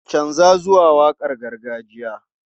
Canza zuwa waƙar gargajiya!